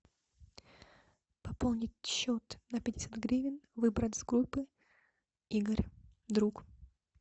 пополнить счет на пятьдесят гривен выбрать с группы игорь друг